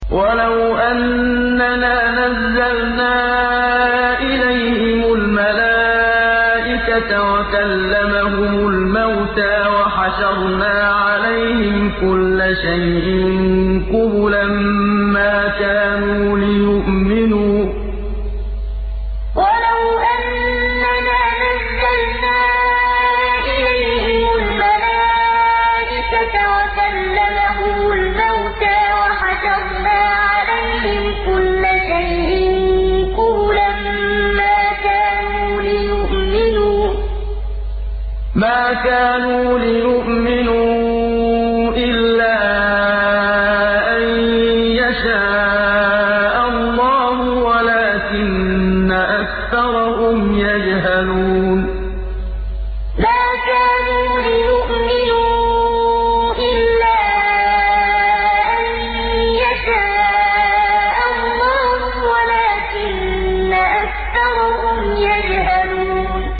۞ وَلَوْ أَنَّنَا نَزَّلْنَا إِلَيْهِمُ الْمَلَائِكَةَ وَكَلَّمَهُمُ الْمَوْتَىٰ وَحَشَرْنَا عَلَيْهِمْ كُلَّ شَيْءٍ قُبُلًا مَّا كَانُوا لِيُؤْمِنُوا إِلَّا أَن يَشَاءَ اللَّهُ وَلَٰكِنَّ أَكْثَرَهُمْ يَجْهَلُونَ ۞ وَلَوْ أَنَّنَا نَزَّلْنَا إِلَيْهِمُ الْمَلَائِكَةَ وَكَلَّمَهُمُ الْمَوْتَىٰ وَحَشَرْنَا عَلَيْهِمْ كُلَّ شَيْءٍ قُبُلًا مَّا كَانُوا لِيُؤْمِنُوا إِلَّا أَن يَشَاءَ اللَّهُ وَلَٰكِنَّ أَكْثَرَهُمْ يَجْهَلُونَ